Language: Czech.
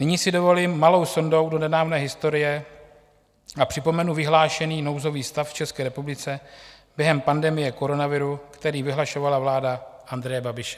Nyní si dovolím malou sondu do nedávné historie a připomenu vyhlášený nouzový stav v České republice během pandemie koronaviru, který vyhlašovala vláda Andreje Babiše.